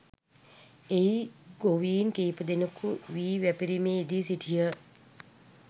එහි ගොවීන් කීපදෙනෙකු වී වැපිරීමේ යෙදී සිටියහ